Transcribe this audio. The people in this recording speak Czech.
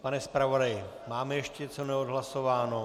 Pane zpravodaji, máme ještě něco neodhlasováno?